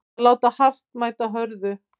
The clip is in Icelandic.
Að láta hart mæta hörðu